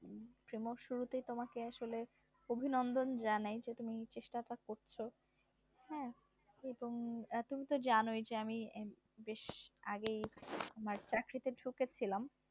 প্রিমো শুরুতে তোমাকে আসলে অভিনন্দন জানাই তুমি চেষ্টাটা করছো, হ্যাঁ তুমি এখন তো জানোই যে আমি বেশ আগেই মানে চাকরিতে ঢুকেছিলাম